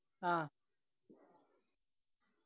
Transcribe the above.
ആ